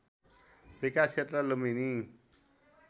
विकास क्षेत्र लुम्बिनी